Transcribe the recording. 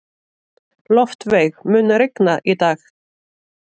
Loftveig, mun rigna í dag?